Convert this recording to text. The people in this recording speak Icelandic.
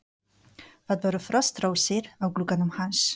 Það voru frostrósir á glugganum hans.